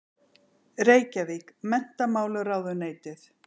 Reykjavík: Menntamálaráðuneytið.